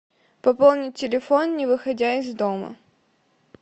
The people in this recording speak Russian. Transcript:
пополнить телефон не выходя из дома